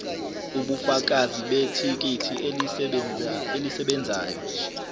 ubufakazi bethikithi elisebenzayo